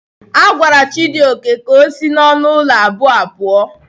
A gwara Chijioke ka o si n'ọnụ ụlọ abụọ a puo.